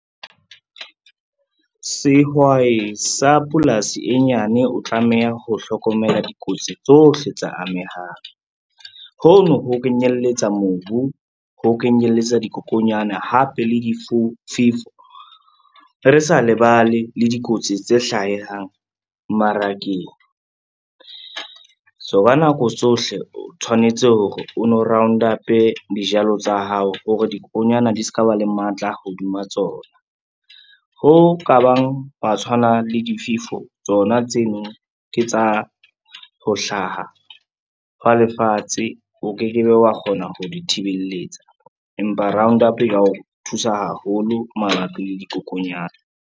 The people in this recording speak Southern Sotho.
Sehwai sa polasi e nyane o tlameha ho hlokomela dikotsi tsohle tsa amehang. Ho no ho kenyelletsa mobu, ho kenyelletsa dikokonyana hape le difefo re sa lebale le dikotsi tse hlahang mmarakeng. So ka nako tsohle o tshwanetse hore o no round up-e dijalo tsa hao hore dikokonyana di ska ba le matla hodima tsona. Ho ka bang hwa tshwana le difefo tsona tseno ke tsa ho hlaha hwa lefatshe o ke ke be wa kgona ho di thibeletsa, empa roundup-o e ka o thusa haholo mabapi le dikokonyana.